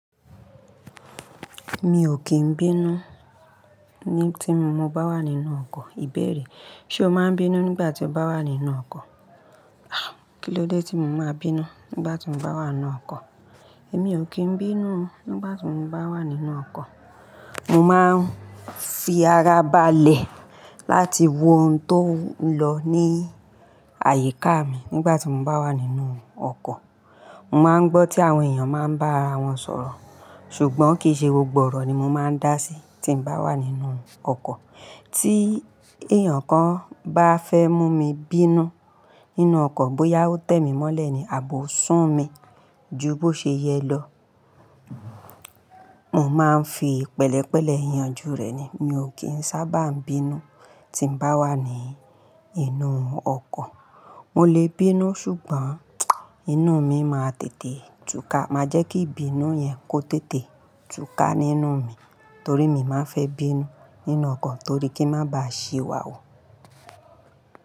Mi ò kì í bínú tí mo bá wà nínú ọkọ́. Ìbéèrè, ṣe o máa ń bínú nígbà tí o bá wà nínú ọkọ́? Kí ló dé tí mo máa bínú nígbà tí mo bá wà nínú ọkọ́? Èmi ò kì í bínú nígbà tí mo bá wà nínú ọkọ́. Mo máa ń fi ara ba lẹ̀ láti wo ohun tó ń lọ ní àyíká mi nígbà tí mo bá wà nínú ọkọ̀. Mo máa ń gbọ́ tí àwọn èèyàn máa ń bá ara wọn sọ̀rọ̀. Ṣùgbọ́n kì í ṣe gbogbo ọ̀rọ̀ ni mo máa ń dá sí tí mo bá wà nínú ọkọ́. Tí èèyàn kan bá fẹ́ mú mi bínú nínú ọkọ́, bóyá ó tẹ́ mi mọ́lẹ̀ ni àbi ó sun mi ju bó ṣe yẹ lọ, mo máa ń fi pẹ̀lẹ́pẹ̀lẹ́ yanjú rẹ̀ ni. Mi ò kì í sábà bínú tí mo bá wà nínú ọkọ́. Mo lè bínú ṣùgbọ́n inú mi máa tètè túká. Máa jẹ́ kí ìbínú yẹn kó tètè túká nínú mi torí mi má fẹ́ bínú nínú ọkọ́ torí kí n má ba à ṣì wà hù.